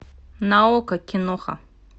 на окко киноха